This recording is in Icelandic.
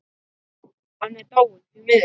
Hann er dáinn, því miður.